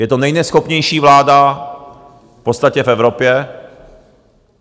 Je to nejneschopnější vláda v podstatě v Evropě.